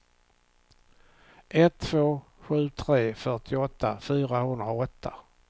ett två sju tre fyrtioåtta fyrahundraåtta